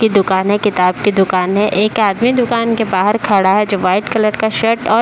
की दुकान है। किताब की दुकान है। एक आदमी दुकान के बाहर खड़ा है जो व्हाइट कलर का शर्ट और --